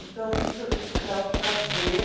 Então, isso, isso dá um prazer